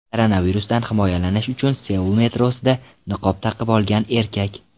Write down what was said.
Koronavirusdan himoyalanish uchun Seul metrosida niqob taqib olgan erkak.